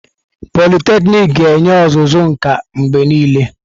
Pọliteknịk ga-enye ọzụzụ nka mgbe niile.